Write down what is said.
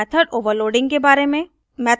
method overloading के बारे में